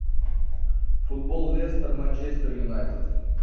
футбол лестер манчестер юнайтед